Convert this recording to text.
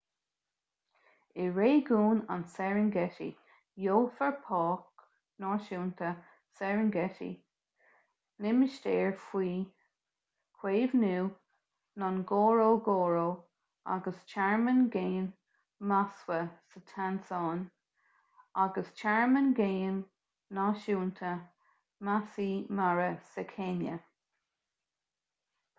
i réigiún an serengeti gheofar páirc náisiúnta serengeti limistéar faoi chaomhnú ngorongoro agus tearmann géim maswa sa tansáin agus tearmann géim náisiúnta maasai mara sa chéinia